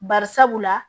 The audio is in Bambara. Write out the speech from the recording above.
Bari sabula